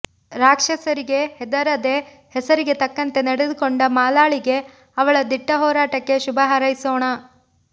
ರಾಕ್ಷಸರಿಗೆ ಹೆದರದೆ ಹೆಸರಿಗೆ ತಕ್ಕಂತೆ ನಡೆದುಕೊಂಡ ಮಾಲಾಳಿಗೆ ಅವಳ ದಿಟ್ಟ ಹೋರಾಟಕ್ಕೆ ಶುಭ ಹಾರೈಸೋಣ